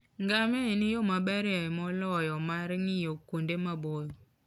Ngamia e yo maberie moloyo mar ng'iyo kuonde maboyo